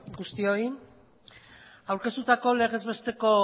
guztioi aurkeztutako legezbesteko